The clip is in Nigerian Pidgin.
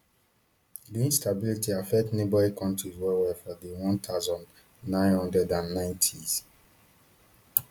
di instability affect neighbouring kontris wellwell for di one thousand, nine hundred and ninetys